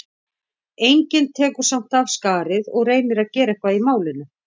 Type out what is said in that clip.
Enginn tekur samt af skarið og reynir að gera eitthvað í málinu.